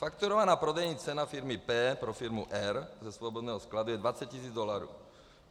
Fakturovaná prodejní cena firmy P pro firmu R ze svobodného skladu je 20 tis. dolarů.